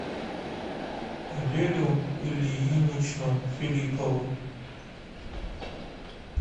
лелю ильиничну филиппову